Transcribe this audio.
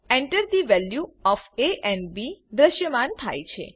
Enter the values of A and B દ્રશ્યમાન થાય છે